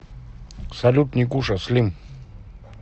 салют никуша слим